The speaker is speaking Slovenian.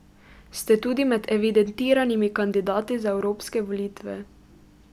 Ste tudi med evidentiranimi kandidati za evropske volitve.